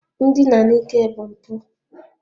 Ndina n'ike bụ mpụ